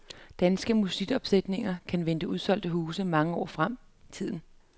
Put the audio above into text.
Danske musicalopsætninger kan vente udsolgte huse mange år frem i tiden.